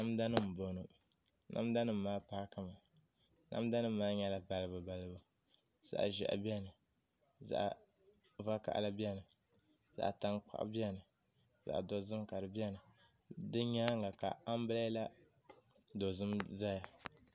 Namda nim n bɔŋɔ namda nim maa paaki mi namda nim maa nyɛla balibu balibu zaɣ ʒiɛhi biɛni zaɣ vakaɣali biɛni zaɣ tankpaɣu biɛni zaɣ dozim ka di biɛni di nyaanga ka anbirɛla dozim ʒɛya